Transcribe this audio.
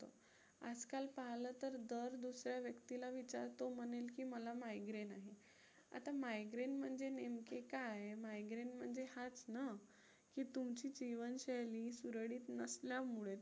आजकाल पाहिलं तर दर दुसऱ्या व्यक्तीला विचारतो म्हणेल की मला migraine आहे. आता migraine म्हणजे नेमके काय? migraine म्हणजे हाच ना. की तुमची जीवनशैली सुरळीत नसल्यामुळे